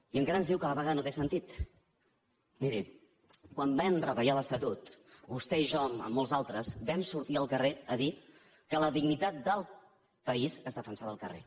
i encara ens diu que la vaga no té sentit miri quan vam reta·llar l’estatut vostè i jo amb molts d’altres vam sortir al carrer a dir que la dignitat del país es defensava al carrer